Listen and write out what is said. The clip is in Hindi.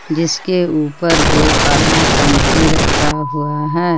जिसके ऊपर दो काला टंकी रखा हुआ है।